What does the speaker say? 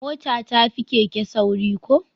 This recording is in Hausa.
Mota ta fi keke sauri ko?